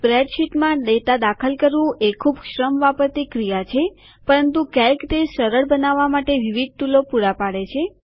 spreadsheet માં data દાખલ કરવું એ ખૂબ શ્રમ વાપરતી ક્રિયા છે પરંતુ કેલ્સી તે સરળ બનાવવા માટે વિવિધ ટુલો પૂરા પાડે છે